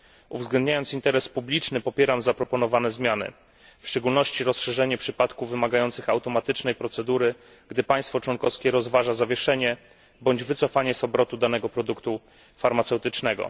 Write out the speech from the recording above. Uwzględniając interes publiczny, popieram zaproponowane zmiany, w szczególności rozszerzenie przypadków wymagających automatycznej procedury, gdy państwo członkowskie rozważa zawieszenie bądź wycofanie z obrotu danego produktu farmaceutycznego.